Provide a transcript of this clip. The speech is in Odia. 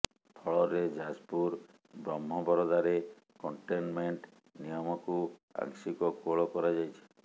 ଫଳରେ ଯାଜପୁର ବ୍ରହ୍ମବରଦାରେ କଣ୍ଟେନମେଣ୍ଟ ନିୟମକୁ ଆଂଶିକ କୋହଳ କରାଯାଇଛି